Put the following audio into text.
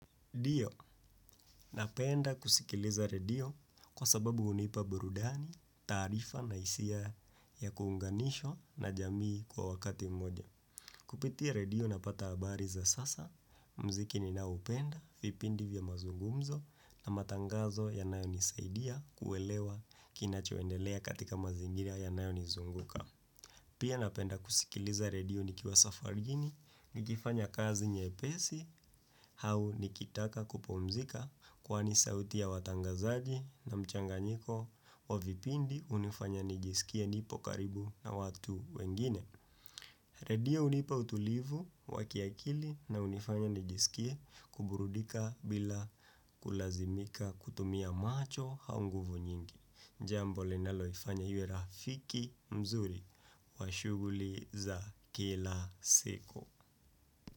Ndio, napenda kusikiliza redio kwa sababu hunipa burudani, taarifa na hisia ya kuunganisha na jamii kwa wakati mmoja. Kupitia redio napata habari za sasa, muziki ninaoupenda, vipindi vya mazungumzo na matangazo yanayonisaidia kuelewa kinachoendelea katika mazingira ya nayonizunguka. Pia napenda kusikiliza redio nikiwa safarini, nikifanya kazi nyepesi, au nikitaka kupumzika kwani sauti ya watangazaji na mchanganyiko wa vipindi hunifanya nijisikie nipo karibu na watu wengine. Redio hunipa utulivu wakiakili na hunifanya nijisikie kuburudika bila kulazimika kutumia macho au nguvu nyingi. Jambo linaloifanya iwe rafiki mzuri. Washuguli za kila siku.